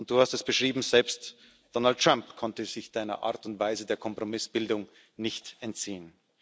Und Du hast es beschrieben Selbst Donald Trump konnte sich Deiner Art und Weise der Kompromissbildung nicht entziehen.